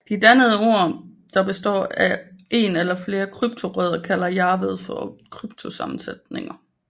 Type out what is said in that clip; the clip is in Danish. De dannede ord der består ef en eller flere kryptorødder kalder Jarvad for kryptosammensætninger